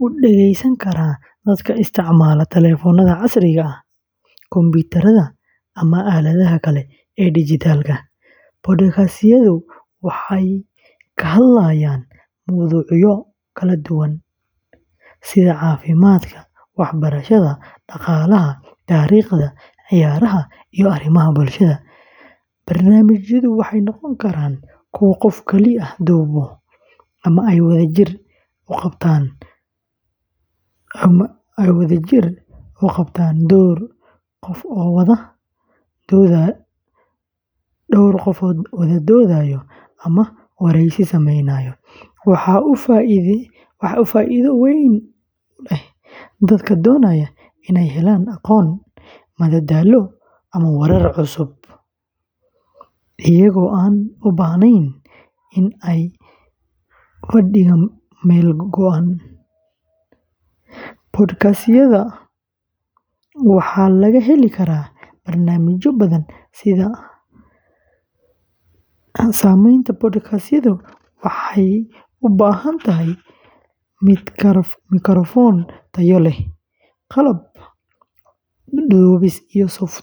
u dhegeysan kara dadka isticmaala taleefannada casriga ah, kumbuyuutarrada, ama aaladaha kale ee dijitaalka ah. Podcast-yadu waxay ka hadlayaan mowduucyo kala duwan sida caafimaadka, waxbarashada, dhaqaalaha, taariikhda, ciyaaraha, iyo arrimaha bulshada. Barnaamijyadu waxay noqon karaan kuwo qof keli ah duubo ama ay wadajir u qabtaan dhowr qof oo wada doodaya ama wareysi sameynaya. Waxa uu faa’iido weyn u leeyahay dadka doonaya inay helaan aqoon, madadaalo, ama warar cusub iyagoo aan u baahnayn in ay fadhigaan meel go’an. Podcast-yada waxaa laga heli karaa barnaamijyo badan. Samaynta podcastku waxay u baahan tahay mikrafoon tayo leh, qalab duubis, iyo softwareru wax lagu tafatiro.